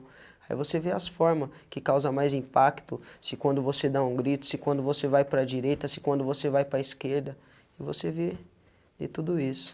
Aí você vê as formas que causam mais impacto, se quando você dá um grito, se quando você vai para a direita, se quando você vai para a esquerda, e você vê vê tudo isso.